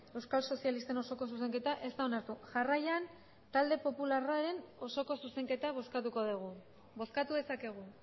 euskal sozialisten osoko zuzenketa ez da onartu jarraian talde popularraren osoko zuzenketa bozkatuko dugu bozkatu dezakegu